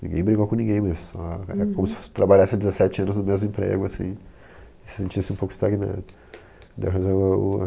Ninguém brigou com ninguém, mas é como se trabalhasse dezessete anos no mesmo emprego assim, e se sentisse um pouco estagnado. Ainda o